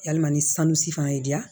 Yalima ni sanu si fana y'i diya